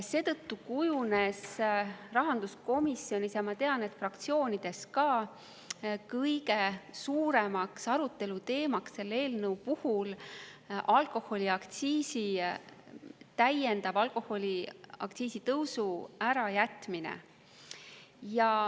Seetõttu kujunes rahanduskomisjonis – ja ma tean, et fraktsioonides ka – kõige suuremaks aruteluteemaks selle eelnõu puhul alkoholiaktsiisi täiendava tõusu ärajätmine.